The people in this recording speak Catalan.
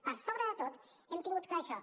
per sobre de tot hem tingut clar això